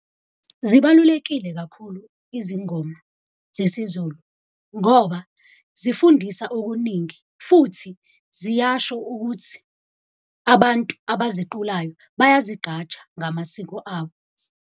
Zibalulekile kakhulu izingoma zesiZulu ngoba zifundisa okuningi futhi ziyasho ukuthi abantu abaziculayo bayazigqaja ngamasiko abo.